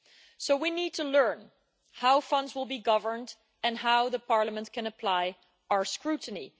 So we need to learn how funds will be governed and how Parliament can apply its scrutiny.